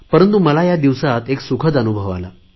परंतु मला या दिवसात एक सुखद अनुभव आला